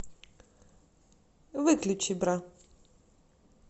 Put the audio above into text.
выключи бра